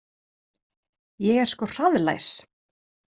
Ég er sko hraðlæs